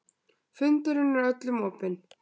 Fundurinn er öllum opinn